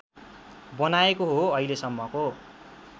बनाएको हो अहिलेसम्मको